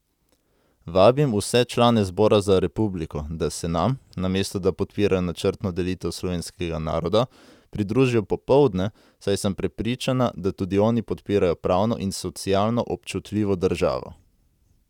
Vabim vse člane Zbora za republiko, da se nam, namesto da podpirajo načrtno delitev slovenskega naroda, pridružijo popoldne, saj sem prepričana, da tudi oni podpirajo pravno in socialno občutljivo državo.